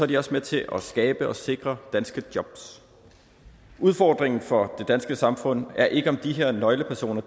de også med til at skabe og sikre danske jobs udfordringen for det danske samfund er ikke om de her nøglepersoner